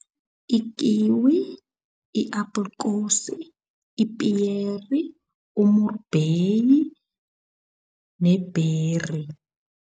Ikiwi, i-aprikosi, ipiyeri, umrubheyi ne-berry.